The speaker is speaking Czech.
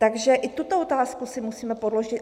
Takže i tuto otázku si musíme položit.